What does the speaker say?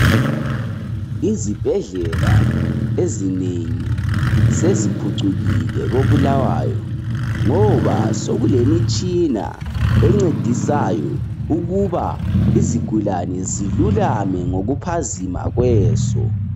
Izibhedlela ezinengi seziphucukile ko Bulawayo, ngoba sekulemitshina encedisayo ukuba izigulane zilulame ngokuphazima kweso.